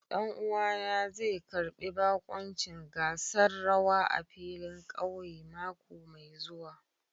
Ɗan'uwana zai karbi bakuncin gasar rawa a filin ƙauye mako mai zuwa.